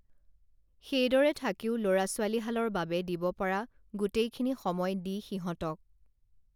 সেইদৰে থাকিও লৰা ছোৱালীহালৰ বাবে দিব পৰা গোটেইখিনি সময় দি সিহঁতক